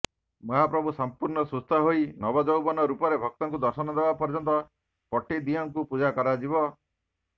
ମହାପ୍ରଭୁ ସମ୍ପୂର୍ଣ୍ଣ ସୁସ୍ଥହୋଇ ନବଯୌବନ ରୂପରେ ଭକ୍ତଙ୍କୁ ଦର୍ଶନଦେବା ପର୍ଯ୍ୟନ୍ତ ପଟିଦିଅଁଙ୍କୁ ପୂଜା କରାଯିବ